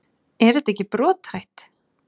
Er þetta ekki brothætt?